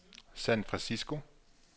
San Francisco